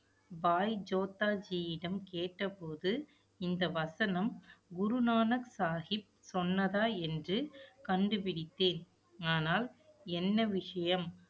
பாய் ஜோத்தாஜியிடம் கேட்டபோது, இந்த வசனம், குருநானக் சாகிப் சொன்னதா என்று கண்டுபிடித்தேன். ஆனால், என்ன விஷயம்